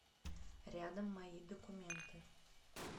рядом мои документы